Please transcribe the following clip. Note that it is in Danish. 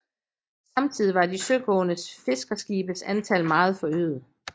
Samtidig var de søgående fiskerskibes antal meget forøget